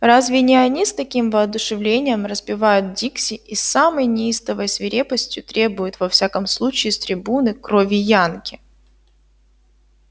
разве не они с таким воодушевлением распевают дикси и с самой неистовой свирепостью требуют во всяком случае с трибуны крови янки